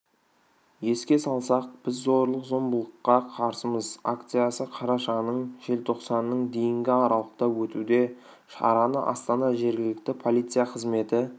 еске салсақ біз зорлық-зомбылыққа қарсымыз акциясы қарашаның желтоқсанның дейінгі аралықта өтуде шараны астана жергілікті полиция қызметі